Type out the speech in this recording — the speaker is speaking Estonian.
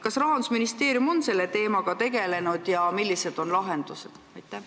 Kas Rahandusministeerium on selle teemaga tegelenud ja kui on, siis millised on lahendused?